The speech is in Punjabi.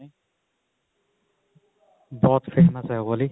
ਬਹੁਤ famous ਹੈ ਉਹ ਵਾਲੀ